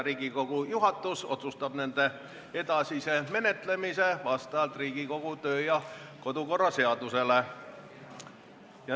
Riigikogu juhatus otsustab nende edasise menetlemise vastavalt Riigikogu kodu- ja töökorra seadusele.